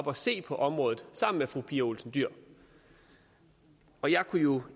og se på området sammen med fru pia olsen dyhr og jeg kunne jo